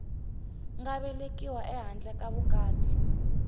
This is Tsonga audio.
nga velekiwa ehandle ka vukati